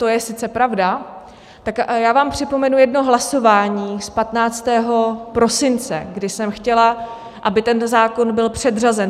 To je sice pravda, tak já vám připomenu jedno hlasování z 15. prosince, kdy jsem chtěla, aby ten zákon byl předřazen.